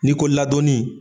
N'i ko ladonni.